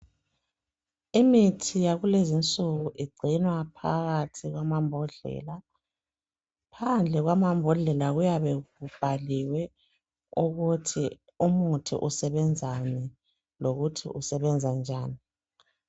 Imithi yakulezi insuku igcinwa phakathi kwamambodlela phandle kwamambodlela kuyabe kubhaliwe ukuthi umuthi umuthi usebenzani lokuthi usebenza njani.